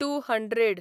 two hundred